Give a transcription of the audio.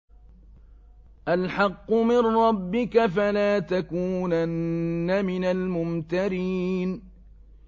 الْحَقُّ مِن رَّبِّكَ ۖ فَلَا تَكُونَنَّ مِنَ الْمُمْتَرِينَ